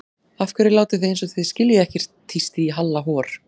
Af hverju látið þið eins og þið skiljið ekkert tísti í Halla hor.